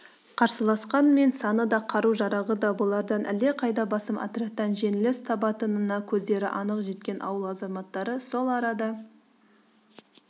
қарсыласқанмен саны да қару-жарағы да бұлардан әлдеқайда басым отрядтан жеңіліс табатынына көздері анық жеткен ауыл азаматтары сол арада